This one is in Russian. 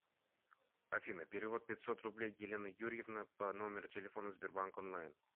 афина перевод пятьсот рублей елена юрьевна по номеру телефона сбербанк онлайн